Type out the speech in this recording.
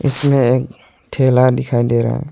इसमें एक ठेला दिखाई दे रहा है।